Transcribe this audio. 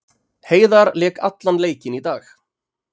Heiðar lék allan leikinn í dag